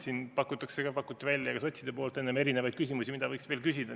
Siin pakkusid ka sotsid enne erinevaid küsimusi, mida võiks veel küsida.